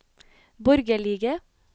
borgerlige